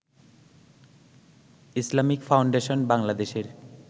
Islamic foundation বাংলাদেশের